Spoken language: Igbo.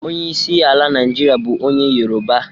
Onye isi ala Naijiria bu onye yoruba.